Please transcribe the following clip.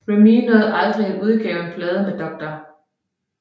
Remee nåede dog aldrig at udgive plader med Dr